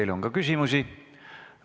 Teile on ka küsimusi.